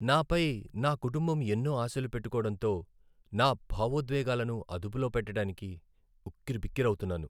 నా పై నా కుటుంబం ఎన్నో ఆశలు పెట్టుకోడంతో నా భావోద్వేగాలను అదుపులో పెట్టడానికి ఉక్కిరిబిక్కిరి అవుతున్నాను.